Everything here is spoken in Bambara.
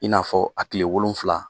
I n'a fɔ a tile wolonwula